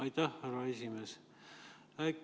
Aitäh, härra esimees!